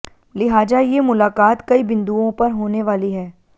लिहाजा ये मुलाकात कई बिंदुओं पर होने वाली है